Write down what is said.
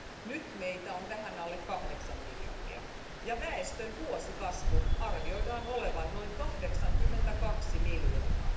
Nyt meitä on vähän alle kahdeksan miljardia ja väestön vuosikasvun arvioidaan olevan noin 82 miljoonaa.